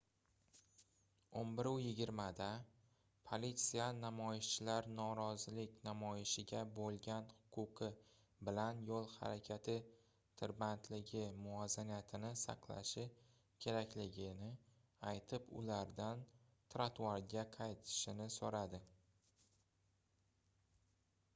11:20 da politsiya namoyishchilar norozilik namoyishiga boʻlgan huquqi bilan yoʻl harakati tirbandligi muvozanatini saqlashi kerakligini aytib ulardan trotuarga qaytishini soʻradi